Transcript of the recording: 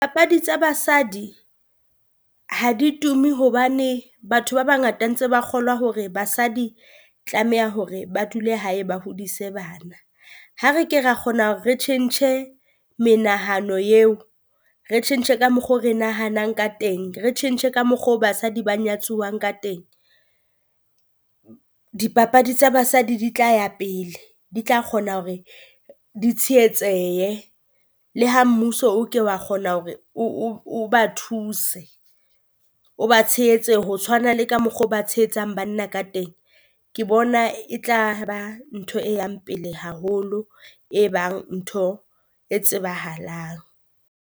Papadi tsa basadi ha di tumi hobane batho ba bangata ntse ba kgolwa hore basadi tlameha hore ba dule hae ba hodise bana. Ha re ke ra kgona hore re tjhentjhe menahano eo, re tjhentjhe ka mokgo re nahanang ka teng, re tjhentjhe ka mokgo basadi ba nyatsiwang ka teng. Dipapadi tsa Basadi di tla ya pele, di tla kgona hore di tshehetsehe, le ha mmuso o ke wa kgona hore o o o ba thuse, o ba tshehetse ho tshwana le ka mokgo ba tsehetsang banna ka teng. Ke bona e tla ba ntho e yang pele haholo, e bang ntho e tsebahalang.